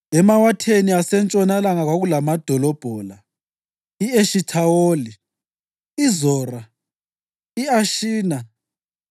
Emawatheni asentshonalanga kwakulamadolobho la: I-Eshithawoli, iZora, i-Ashina,